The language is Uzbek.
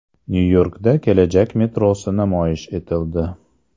Nyu-Yorkda kelajak metrosi namoyish etildi.